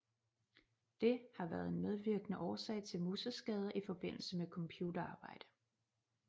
Det har været en medvirkende årsag til museskader i forbindelse med computerarbejde